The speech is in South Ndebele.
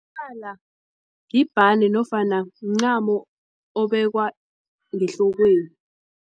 yibhande nofana mncamo obekwe ngehlokweni.